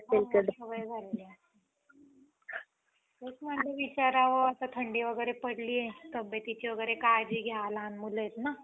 नाय दाखवणार सैराट two नाही निघायचा.